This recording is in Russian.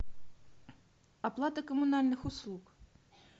оплата коммунальных услуг